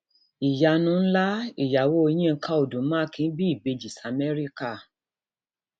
ìyanu ńlá ìyàwó yinka odu makin bí ìbejì s amerika